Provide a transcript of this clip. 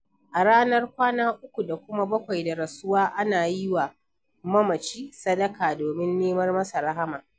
A ranar kwana 3 da kuma 7 da rasuwa ana yiwa mamaci sadaka domin nemar masa rahma.